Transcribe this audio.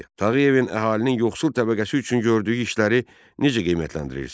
Tağıyevin əhalinin yoxsul təbəqəsi üçün gördüyü işləri necə qiymətləndirirsən?